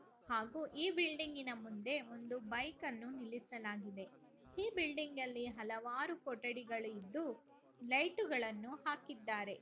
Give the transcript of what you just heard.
ಹಾಗೂ ಈ ಬಿಲ್ಡಿಂಗ್ನ ಮುಂದೆ ಒಂದು ಬೈಕ್ನ್ನು ನಿಲ್ಲಿಸಲಾಗಿದೆ ಈ ಬಿಲ್ಡಿಂಗ್ ಅಲ್ಲಿ ಹಲವಾರು ಕೊಠಡಿಗಳಿದ್ದು ಲೈಟ ಗಾಲನ್ನು ಹಾಕಿದ್ಧಾರೆ.